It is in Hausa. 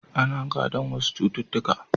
Ana gadon wasu cututtukan.